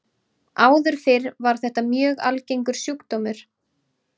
Áður fyrr var þetta mjög algengur sjúkdómur.